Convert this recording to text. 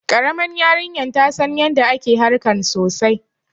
Karaman yarinyar ta San yanda ake harkan sosai.